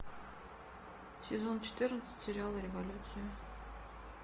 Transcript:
сезон четырнадцать сериала революция